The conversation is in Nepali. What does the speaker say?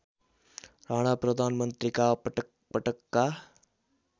राणा प्रधानमन्त्रीका पटकपटकका